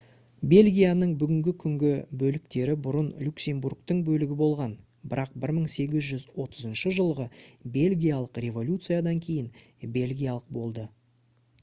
бельгияның бүгінгі күнгі бөліктері бұрын люксембургтың бөлігі болған бірақ 1830 жылғы бельгиялық революциядан кейін бельгиялық болды